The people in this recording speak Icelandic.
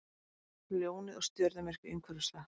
Ljónið og stjörnumerki umhverfis það.